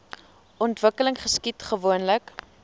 ontwikkeling geskied gewoonlik